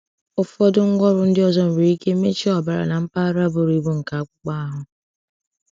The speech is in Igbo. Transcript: Ụfọdụ ngwaọrụ ndị ọzọ nwere ike mechie ọbara na mpaghara buru ibu nke akpụkpọ ahụ.